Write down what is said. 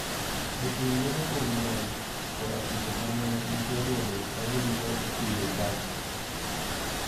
Jopur geno kuom lony koda timbe ma ne gisebedo ka giluwo e pidho cham.